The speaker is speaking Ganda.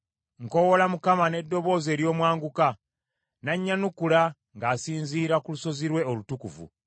Nkoowoola Mukama n’eddoboozi ery’omwanguka, n’annyanukula ng’asinziira ku lusozi lwe olutukuvu.